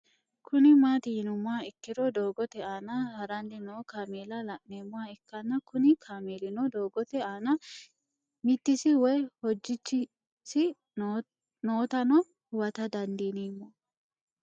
Kuni mati yinumoha ikiro doogote aana harani no kamela la'nemoha ikana Kuni kamelino doogote aana mitis woyi hojichisi nootano huwata dandinemo